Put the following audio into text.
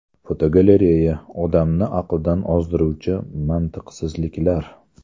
Fotogalereya: Odamni aqldan ozdiruvchi mantiqsizliklar.